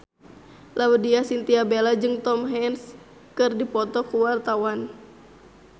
Laudya Chintya Bella jeung Tom Hanks keur dipoto ku wartawan